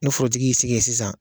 Ni forotigi y'i sigi ye sisan